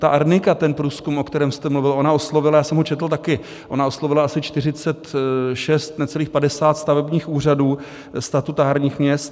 Ta Arnika, ten průzkum, o kterém jste mluvil, ona oslovila - já jsem ho četl také - ona oslovila asi 46, necelých 50 stavebních úřadů statutárních měst.